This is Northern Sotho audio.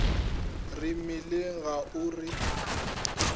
re mmileng ga o re